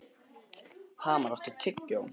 Hamar, áttu tyggjó?